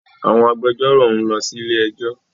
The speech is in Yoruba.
Àwọn agbẹjọro nlọ sí ilé ẹjó